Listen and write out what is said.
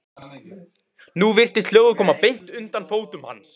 Nú virtist hljóðið koma beint undan fótum hans.